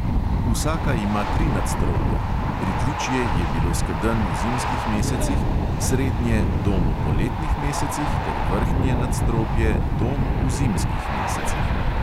Vsaka ima tri nadstropja: pritličje je bilo skedenj v zimskih mesecih, srednje dom v poletnih mesecih ter vrhnje nadstropje dom v zimskih mesecih.